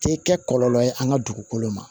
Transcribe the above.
Tɛ kɛ kɔlɔlɔ ye an ka dugukolo ma